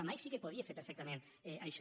la mike sí que podia fer perfectament això